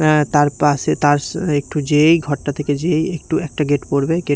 অ্যা তার পাশে তার একটু যেয়েই ঘরটা থেকে যেয়েই একটু একটা গেট পড়বে গেট --